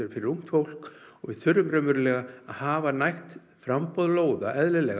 fyrir ungt fólk við þurfum raunverulega að hafa nægt framboð lóða